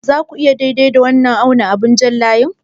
Za ku iya auna daidai da wannan abin jan layi?